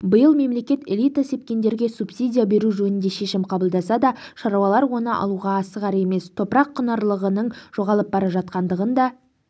биыл мемлекет элита сепкендерге субсидия беру жөнінде шешім қабылдаса да шаруалар оны алуға асығар емес топырақ құнарлылығының жоғалып бара жатқандығы да